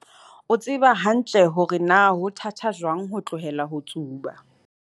o tseba hantle hore na ho thata jwang ho tlohela ho tsuba.